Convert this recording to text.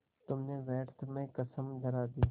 तुमने व्यर्थ में कसम धरा दी